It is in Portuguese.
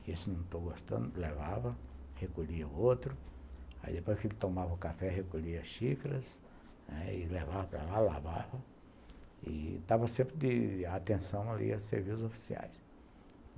que esse não estou gostando, levava, recolhia o outro, aí depois que ele tomava o café, recolhia as xícaras, aí levava para lá, lavava, e dava sempre a atenção ali aos serviços oficiais.